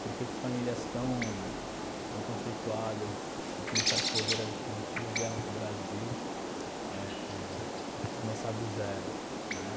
Por que que famílias tão tão conceituadas e com certo poder aquisitivo vieram para o Brasil éh éh começar do zero, né?